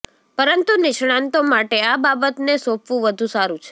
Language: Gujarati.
પરંતુ નિષ્ણાતો માટે આ બાબતને સોંપવું વધુ સારું છે